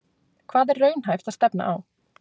Hvað er raunhæft að stefna á?